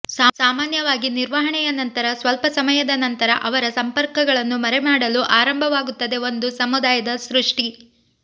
ಸಾಮಾನ್ಯವಾಗಿ ನಿರ್ವಹಣೆಯ ನಂತರ ಸ್ವಲ್ಪ ಸಮಯದ ನಂತರ ಅವರ ಸಂಪರ್ಕಗಳನ್ನು ಮರೆಮಾಡಲು ಆರಂಭವಾಗುತ್ತದೆ ಒಂದು ಸಮುದಾಯದ ಸೃಷ್ಟಿ